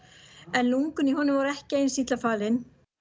en lungun í honum voru ekki eins illa farin